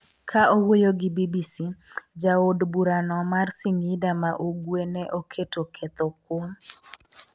ka owuoyo gi BBC,jaod bura no mar Singida ma ugwe ne oketo ketho kuom